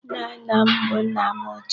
Nna nna m bụ nna m ochie.